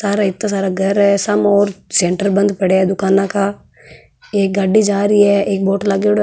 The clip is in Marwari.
सारा इत्ता सारा घर है समो ओर सेंटर बंद पड़े है दुकाना का एक गाड़ी जा रही है एक बोर्ड लागेड़ो है।